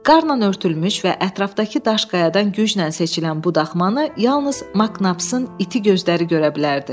Qarla örtülmüş və ətrafdakı daş-qayadan güclə seçilən bu daxmanı yalnız Maknapsın iti gözləri görə bilərdi.